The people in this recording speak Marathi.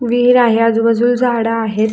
विहीर आहे आजुबाजूला झाड आहेत.